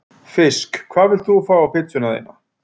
fisk Hvað vilt þú fá á pizzuna þína?